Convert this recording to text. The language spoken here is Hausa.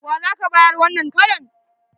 Wa za ka bayar wannan karon?